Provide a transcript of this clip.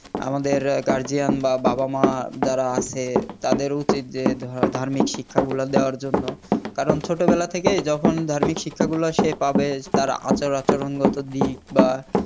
আমাদের Guardian বা বাবা মা যারা আছে তাদের উচিত যে ধ~ ধার্মিক শিক্ষা গুলা দেওয়ার জন্য কারণ ছোটবেলা থেকেই যখন ধার্মিক শিক্ষা গুলা সে পাবে তার আচার আচরণ গত দিক বা